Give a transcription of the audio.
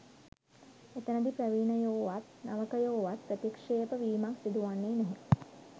එතැනදී ප්‍රවීණයෝවත් නවකයෝවත් ප්‍රතික්ෂේප වීමක් සිදුවන්නේ නැහැ